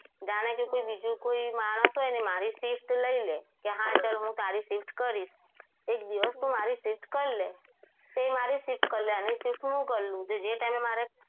જાણે કે બીજું કોઈ માણસ હોય તો એ મારી shift લઈ લે કે હા ચાલ હું તારી shift કરીશ એક દિવસ તું મારી shift કરી લે એ મારી shift કરી લે એની shift હું કરી લઉં તો જે time એ મારે